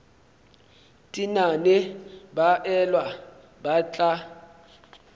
tenane ba elwa ba tla